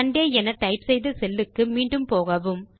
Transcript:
Sunday என type செய்த cellக்கு மீண்டும் போகவும்